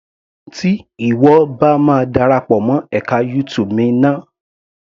Tí ìwọ bá ma darapọ̀ mọ́ ẹka YouTube mi ná.